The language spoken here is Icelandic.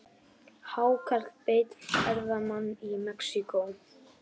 Hákarl beit ferðamann í Mexíkó